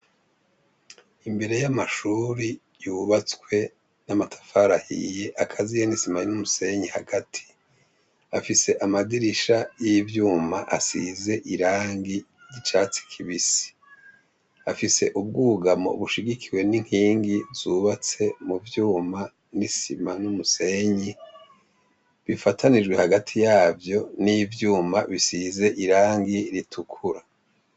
Imbere y'amashuri yubatswe n'amatafarahiye akaziye n'isimayan'umusenyi hagati afise amadirisha y'ivyuma asize irangi ry'icatsi kibisi afise ubwugamo bushigikiwe n'inkingi zubatse mu vyuma n'isiba maniumusenyi bifatanijwe hagati yavyo n'ivyuma bisize irangi ritukura.